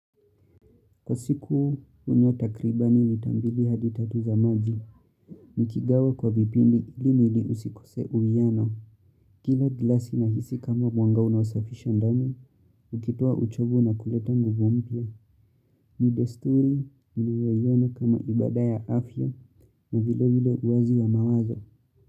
Kwa siku unywa takribani ni lita mbili hadi tatu za maji, nikigawa kwa vipindi ili mwili usikose uwiyano. Kila glasi na hisi kama mwanga unaosafisha ndani, ukitoa uchovu na kuleta nguvu mpya. Ni desturi inuweyona kama ibada ya afya na vile vile uwezo wa mawazo.